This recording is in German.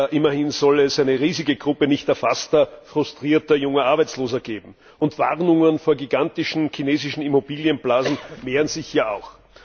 Immerhin soll es eine riesige Gruppe nicht erfasster frustrierter junger Arbeitsloser geben, und Warnungen vor gigantischen chinesischen Immobilienblasen mehren sich ja auch.